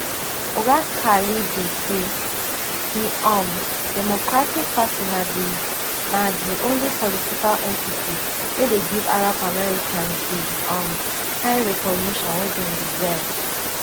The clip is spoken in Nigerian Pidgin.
oga khalidi say di um democratic party na di na di only political entity wey dey give arab americans di um kain recognition wey dem deserve